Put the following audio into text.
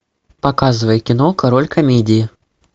показывай кино король комедии